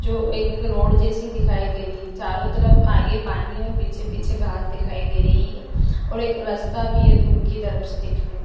जो एक रोड जैसी दिखाई दे रही चारों तरफ आगे पानी और पीछे पीछे घास दिखाई दे रही है और एक रास्ता भी हैं दूर की तरफ से दिखने--